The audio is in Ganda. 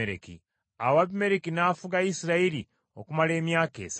Awo Abimereki n’afuga Isirayiri okumala emyaka esatu.